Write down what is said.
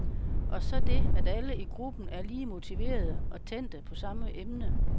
Og så det, at alle i gruppen er lige motiverede og tændte på samme emne.